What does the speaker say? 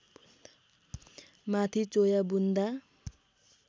माथि चोया बुन्दा